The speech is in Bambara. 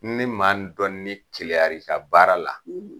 Ni maa n dɔ ni keleyar'i la baara la